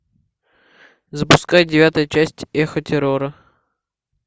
запускай девятая часть эхо террора